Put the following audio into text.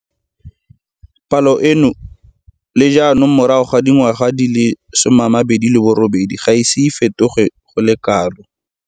Palo eno le jaanong morago ga dingwaga di le 28 ga e ise e fetoge go le kalo.